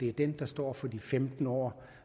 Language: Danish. er den der står for de femten år